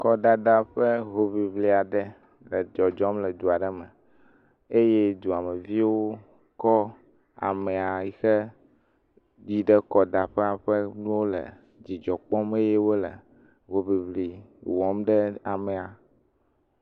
Kɔdada ƒe hoŋiŋli aɖe le dzɔdzɔm le du aɖe me eye duameviwo kɔ amea ɖe yi ɖe kɔdaƒea ƒe nuwo le dzidzɔ kpɔm eye wole hoŋihli wɔm ɖe amea.